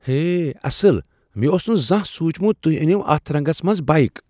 ہے، اصل ! مےٚ اوس نہٕ زانٛہہ سوٗنٛچمت تو٘ہہ انِو اتھ رنگس منٛز بائیک۔